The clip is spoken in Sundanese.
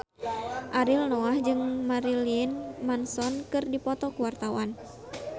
Ariel Noah jeung Marilyn Manson keur dipoto ku wartawan